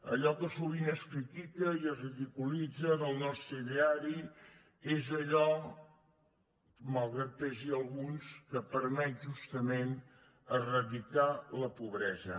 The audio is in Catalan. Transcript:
allò que sovint es critica i es ridiculitza del nostre ideari és allò malgrat que pesi a alguns que permet justament eradicar la pobresa